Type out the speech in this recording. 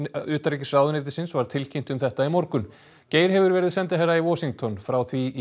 utanríkisráðuneytisins var tilkynnt um þetta í morgun Geir hefur verið sendiherra í Washington frá því í